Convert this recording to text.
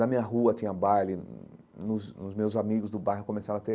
Na minha rua tinha baile, nos os meus amigos do bairro começaram a ter